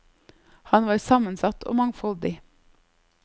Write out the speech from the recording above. Han var sammensatt og mangfoldig.